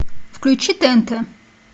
включи тнт